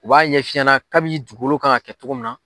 U b'a ɲɛf'i ɲɛna kabi ni dugukolo kan ka kɛ cogo min na,